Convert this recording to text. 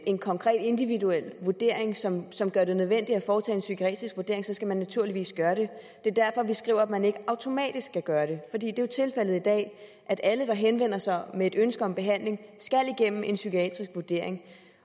en konkret individuel vurdering som som gør det nødvendigt at foretage en psykiatrisk vurdering så skal man naturligvis gøre det det er derfor vi skriver at man ikke automatisk skal gøre det for det er jo tilfældet i dag at alle der henvender sig med et ønske om behandling skal igennem en psykiatrisk vurdering